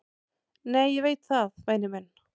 """Nei, ég veit það, væni minn."""